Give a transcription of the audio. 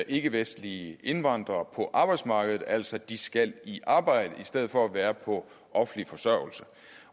ikkevestlige indvandrere på arbejdsmarkedet altså at de skal i arbejde i stedet for at være på offentlig forsørgelse